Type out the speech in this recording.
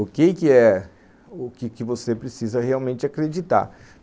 O que que é, o que que você precisa realmente acreditar?